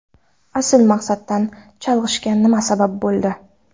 Asl maqsaddan chalg‘ishga nima sabab bo‘ldi?